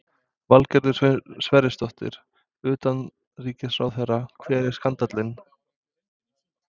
Valgerður Sverrisdóttir, utanríkisráðherra: Hver er skandallinn?